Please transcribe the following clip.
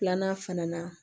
Filanan fana na